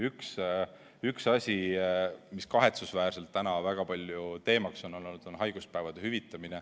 Üks asi, mis kahetsusväärselt täna väga palju teemaks on olnud, on haiguspäevade hüvitamine.